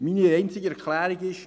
Meine einzige Erklärung ist: